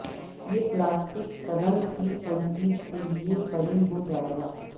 یہ پلاسٹک قلم کی تنصیب کے لئے فریم ہو جائے گا